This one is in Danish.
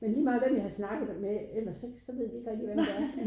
Men lige meget hvem jeg har snakket med ellers så så ved de ikke rigtig hvem det er